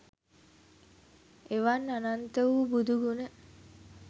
එවන් අනන්ත වූ බුදු ගුණ